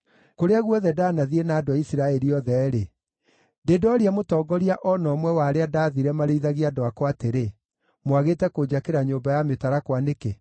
Kũrĩa guothe ndaanathiĩ na andũ a Isiraeli othe-rĩ, ndĩ ndooria mũtongoria o na ũmwe wa arĩa ndaathire marĩithagie andũ akwa atĩrĩ, “Mwagĩte kũnjakĩra nyũmba ya mĩtarakwa nĩkĩ?” ’